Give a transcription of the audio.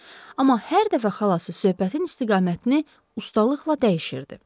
amma hər dəfə xalası söhbətin istiqamətini ustalıqla dəyişirdi.